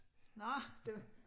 Nåh det